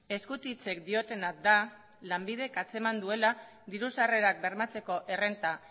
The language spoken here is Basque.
eskutitzek diotena da lanbidek antzeman duela diru sarrerak bermatzeko errenta